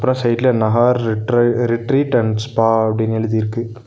அப்றோ சைடுல நஹார் ரெற்ற ரெட்ரீட் அண்ட் ஸ்பா அப்டினு எழுதிருக்கு.